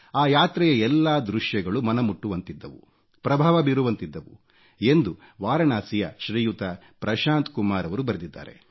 ಆ ಯಾತ್ರೆಯ ಎಲ್ಲಾ ದೃಶ್ಯಗಳು ಮನ ಮುಟ್ಟುವಂತಿದ್ದವು ಪ್ರಭಾವ ಬೀರುವಂತಿದ್ದವು ಎಂದು ವಾರಣಾಸಿಯ ಶ್ರೀಯುತ ಪ್ರಶಾಂತ್ ಕುಮಾರ್ ರವರು ಬರೆದಿದ್ದಾರೆ